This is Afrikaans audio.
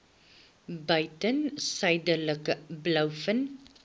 buiten suidelike blouvin